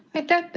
Aitäh!